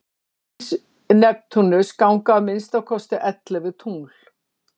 umhverfis neptúnus ganga að minnsta kosti ellefu tungl